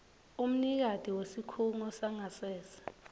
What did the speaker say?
umnikati wesikhungo sangasese